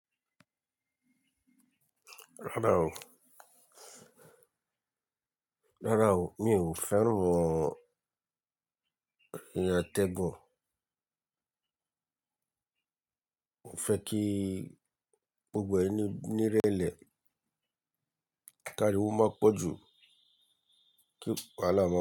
Rárá o. Rárá o, mi ò fẹ́ràn iyen atẹgun. Mo fẹ́ kí gbogbo ẹni níré ẹlẹ. Ẹ káriwo máa pọ̀ ju kí wahala.